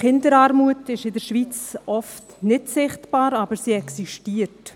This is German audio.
Kinderarmut ist in der Schweiz oft nicht sichtbar, aber sie existiert.